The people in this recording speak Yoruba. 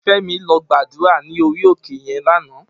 Femi lò gbàdúrá ni óri óké yèn làná